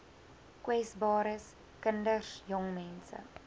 kwesbares kinders jongmense